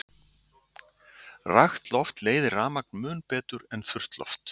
Rakt loft leiðir rafmagn mun betur en þurrt loft.